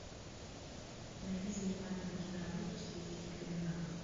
найди занимательную киноработу в стилистике криминала